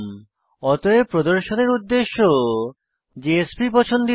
অতএব প্রদর্শনের উদ্দেশ্য জেএসপি পছন্দিত